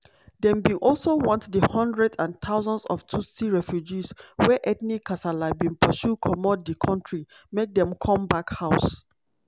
dem bin also want di hundreds and thousands of tutsi refugees wey ethnic kasala bin pursue comot di kontri make dem come back house.